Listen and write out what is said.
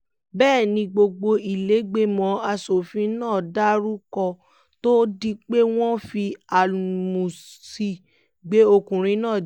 bẹ́ẹ̀ ni gbogbo ìlẹ́gbẹ́mọ asòfin náà dàrú kó tóó di pé wọ́n fi áńlúsì gbé ọkùnrin náà jáde